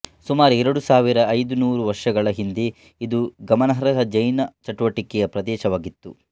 ಸುಮಾರು ಎರಡು ಸಾವಿರದ ಐದುನೂರು ವರ್ಷಗಳ ಹಿಂದೆಇದು ಗಮನಾರ್ಹ ಜೈನ ಚಟುವಟಿಕೆಯ ಪ್ರದೇಶವಾಗಿತ್ತು